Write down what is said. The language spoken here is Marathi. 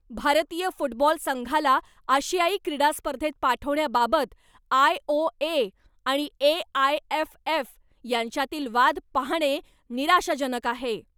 भारतीय फुटबॉल संघाला आशियाई क्रीडा स्पर्धेत पाठवण्याबाबत आय. ओ. ए. आणि ए. आय. एफ. एफ. यांच्यातील वाद पहाणे निराशाजनक आहे.